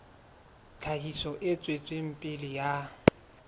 tlhahiso e tswetseng pele ya